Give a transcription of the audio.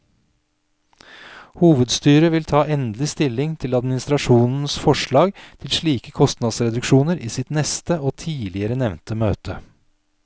Hovedstyret vil ta endelig stilling til administrasjonens forslag til slike kostnadsreduksjoner i sitt neste og tidligere nevnte møte.